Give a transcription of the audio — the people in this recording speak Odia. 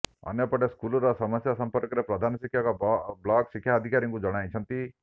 ଅନ୍ୟପଟେ ସ୍କୁଲର ସମସ୍ୟା ସମ୍ପର୍କରେ ପ୍ରଧାନ ଶିକ୍ଷକ ବ୍ଲକ ଶିକ୍ଷାଧିକାରୀଙ୍କୁ ଜଣାଇଛନ୍ତି